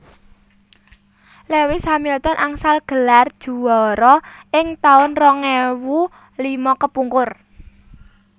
Lewis Hamilton angsal gelar juara ing taun rong ewu lima kepungkur